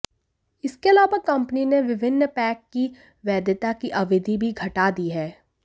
इसके अलावा कंपनी ने विभिन्न पैक की वैधता की अवधि भी घटा दी है